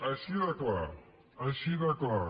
així de clar així de clar